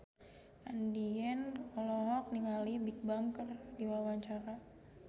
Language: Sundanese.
Andien olohok ningali Bigbang keur diwawancara